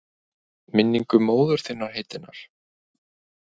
Minningu móður þinnar heitinnar?